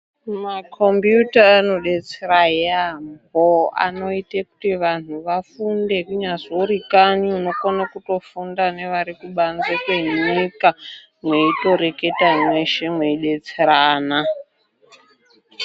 Mako mbiyuta ano detsera yaambo anoite kuti vanthu vafunde kunyazve uri kanyi unokona kutofunda nevari kubanze kwenyika mweitoreketa mweshe mweide tserana.